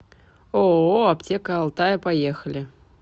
ооо аптека алтая поехали